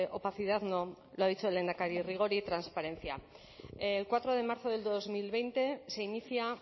opacidad no lo ha dicho el lehendakari rigor y transparencia el cuatro de marzo del dos mil veinte se inicia